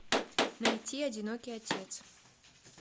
найти одинокий отец